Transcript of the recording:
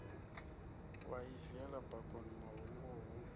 wa i viela bakoni mahunguvhu